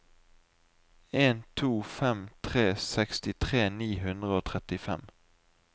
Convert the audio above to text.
en to fem tre sekstitre ni hundre og trettifem